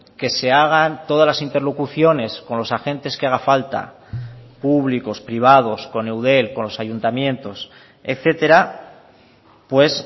que se hagan todas las interlocuciones con los agentes que haga falta públicos privados con eudel con los ayuntamientos etcétera pues